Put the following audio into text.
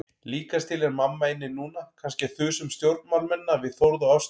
Líkast til er mamma inni núna, kannski að þusa um stjórnmálamennina við Þórð og Ástu.